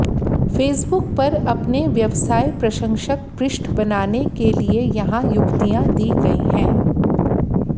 Facebook पर अपने व्यवसाय प्रशंसक पृष्ठ बनाने के लिए यहां युक्तियां दी गई हैं